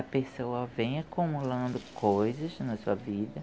A pessoa vem acumulando coisas na sua vida.